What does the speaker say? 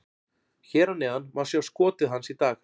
Hér að neðan má sjá skotið hans í dag: